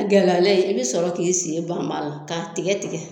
A gɛlɛyalen i be sɔrɔ k'i sen banb'a la k'a tigɛ tigɛ